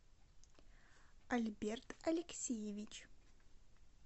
альберт алексеевич